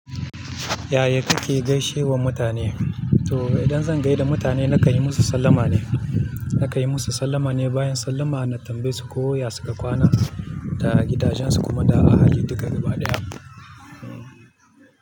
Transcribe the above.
Ya ya kake gaishewa mutane? To idan zan gaida mutane na kai musu sallama ne, na kan yii musu sallama ne, bayan sallama na tambaye su ko ya suka kwana da gidajensu kuma da ahali duka gaba ɗaya.